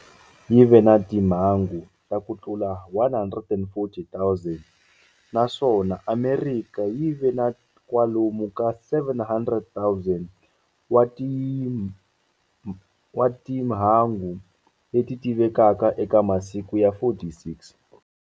Yi ve na timhangu ta ku tlula 140, 000, naswona Amerika yi ve na kwalomu ka 700, 000 wa timhangu leti tivekaka eka masiku ya 46.